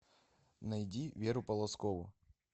найди веру полозкову